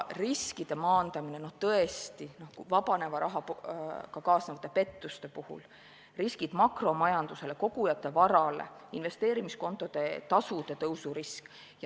Riskide maandamine vabaneva rahaga kaasnevate pettuste puhul, riskid makromajandusele, kogujate varale, investeerimiskontode tasude tõusu risk.